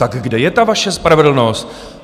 Tak kde je ta vaše spravedlnost?